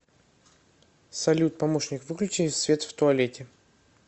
салют помощник выключи свет в туалете